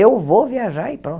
Eu vou viajar e pronto.